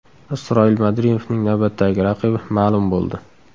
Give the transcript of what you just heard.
Isroil Madrimovning navbatdagi raqibi ma’lum bo‘ldi.